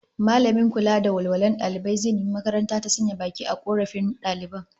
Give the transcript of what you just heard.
Mallamin kula da walwalar dalibai zai nemi makaranta ta sanya baki a korafin daliban